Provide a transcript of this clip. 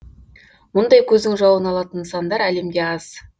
мұндай көздің жауын алатын нысандар әлемде аз